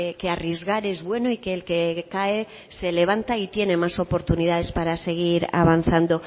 que arriesgar es bueno y que el que cae se levanta y tiene más oportunidades para seguir avanzando